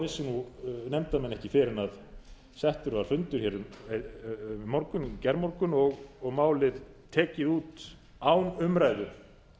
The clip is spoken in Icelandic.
vissu nefndarmenn ekki fyrr en settur var fundur hér í gærmorgun og málið tekið út án umræðu